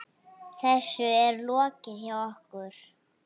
Þessu er lokið hjá okkur.